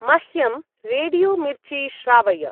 मह्यं रेडियो-मिर्ची श्रावय।